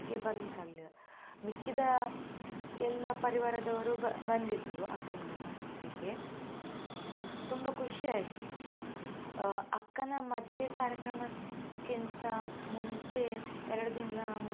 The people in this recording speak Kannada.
ಬರಲಿಕ್ಕೆ ಆಗಲಿಲ್ಲ, ಮಿಕ್ಕಿದ ಎಲ್ಲಾ ಪರಿವಾರದವರು ಬ~ ಬಂದ್ದಿದ್ರು ಅಕ್ಕನ್ಗೆ ಮದ್ವೆಗೆ, ತುಂಬಾ ಖುಷಿ ಆಯ್ತು. ಆ ಅಕ್ಕನ ಮದುವೆ ಕಾರ್ಯಕ್ರಮ ಕ್ಕಿಂತ ಮುಂಚೆ ಎರಡು ದಿನ.